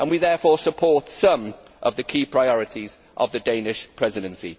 We therefore support some of the key priorities of the Danish Presidency.